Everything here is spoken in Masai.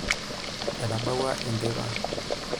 Etabawua enteipa.